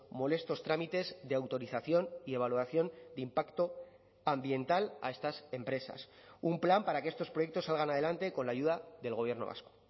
molestos trámites de autorización y evaluación de impacto ambiental a estas empresas un plan para que estos proyectos salgan adelante con la ayuda del gobierno vasco